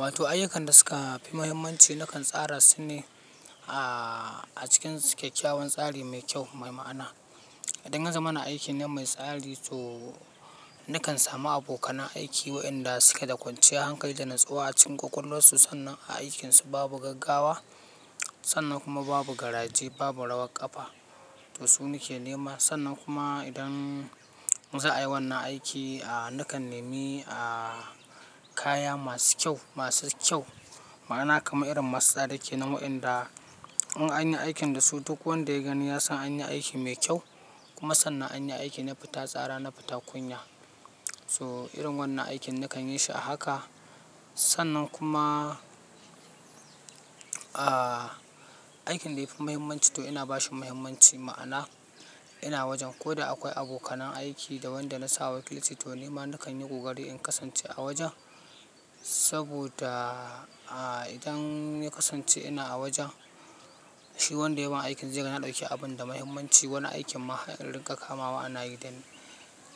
Wato ayyukan da suka fi mahimmanci nakan tsara su ne a cikin kyakkyawan tsari mai kyau, mai ma'ana. Idan ya za mana aikin nan mai tsari to nakan samu abokanan aiki waɗanda suke da kwanciyar hankali da natsuwa a cikin ƙwaƙwalwarsu. Sannan a aikinsu babu gaggawa, sannan kuma babu garaje, babu rawar ƙafa. To su nake nema. Sannan kuma idan za a yi wannan aiki aa nakan nemi aa kaya masu kyau, masu kyau. Ma'ana kamar irin masu tsari kenan waɗanda in anyi aikin dasu duk wanda ya gani ya san anyi aikin mai kyau. Kuma sannan anyi aiki na fita tsara, na fita kunya. So irin wannan aikin nakan yi shi a haka. Sannan kuma aikin da yafi muhimmanci to ina bashi muhimmanci. Ma'ana ina wajen ko da akwai abokanan aiki da wanda na sawa kilsi to nima nakan yi ƙokari in kasance a wajen. Saboda idan ya kasance ina a wajen, shi wanda yaban aikin zai ga na ɗauki abun da muhimmanci. Wani aikin ma har iringa kamawa ana yi da ni.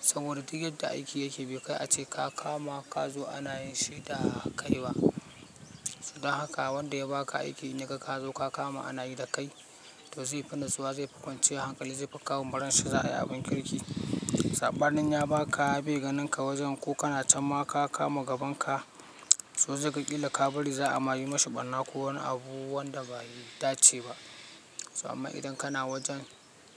Saboda duk yadda aiki yake bai kai ace ka kama, ka zo ana yin shi da kai ba. Sannan haka wanda yabaka aiki in ya ga ka zo ka kama ana yi da kai to zai fi nisuwa, zai fi kwanciyar hankali, zai fi kawo ma ran sa za a yi abin kirki. Sabanin ya baka be ganinka wajen ko kana can ma ka kama gaban ka to zai ga kila ka bari za a ma yi mishi ɓarna ko wani abu wanda bai dace ba. Amma idan kana wajen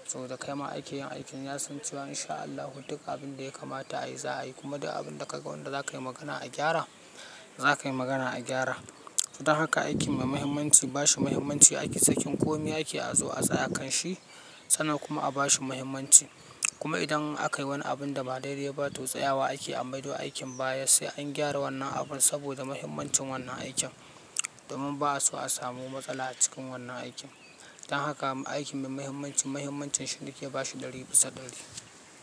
to da kai ma ake yin aikin ya san cewa in sha Allah duk abin da ya kamata a yi za a yi. Kuma duk abun da ka ga wanda za ka yi magana a gyara, za ka yi magana a gyara. Don haka aikin mai muhimmanci bashi muhimmanci. Ake sakin kome ake a zo a tsaya kan shi sannan kuma a bashi muhimmanci. Kuma idan aka yi wani abun da ba dai dai ba to tsayawa ake a maido aikin baya sai an gyara wannan abun saboda muhimmancin wannan aikin. Domin ba'a so a samu matsala a cikin wannan aikin. Dan haka aikin mai muhimmanci muhimmancin shi na ke bashi dari bisa dari.